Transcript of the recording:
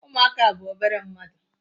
Umuaka bu obere mmadu